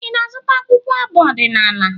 Ị na-azụta akwụkwọ abụ ọdịnaala?